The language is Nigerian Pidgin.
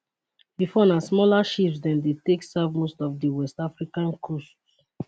bifor na smaller ships dem dey take serve most of di west african coasts